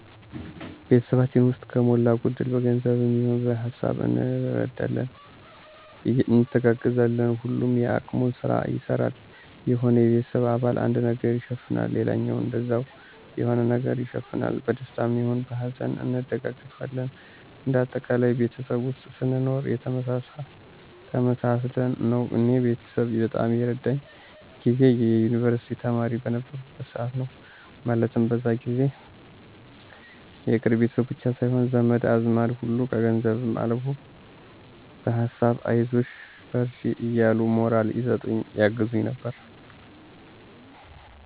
ቤተሰባችን ውስጥ ከሞላ ጎደል በገንዘብም ይሆን በሀሳብ እንረዳዳለን፣ እንተጋገዛለን። ሁሉም የአቅሙን ስራ ይሰራል። የሆነ የቤተሰብ አባል አንዱን ነገር ይሸፍናል ሌላውም እንደዛው የሆነ ነገር ይሸፍናል። በደስታም ይሁን በሀዘን እንደጋገፋለን እንደ አጠቃላይ ቤተሰብ ውስጥ ስንኖር ተመሳስለን ነው። እኔ ቤተሰብ በጣም የረዳኝ ጊዜ የዩንቨርስቲ ተማሪ በነበርኩበት ሰዓት ነው። ማለትም በዛ ጊዜ የቅርብ ቤተሰብ ብቻ ሳይሆን ዘመድ አዝማድ ሁሉ ከገንዘብም አልፎ በሀሳብ አይዞሽ በርቺ እያሉ ሞራል ይሰጡኝ ያግዙኝ ነበር።